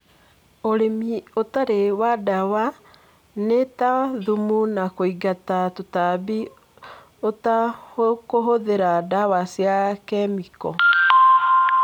ũrĩmi ũtarĩ wa dawa nĩta thumu na kũingata tũtambi ũtakũhũthĩra dawa cia kemiko.